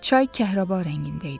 Çay kəhrəba rəngində idi.